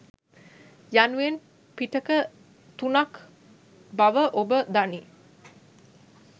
යනුවෙන් පිටක තුනක් බව ඔබ දනී.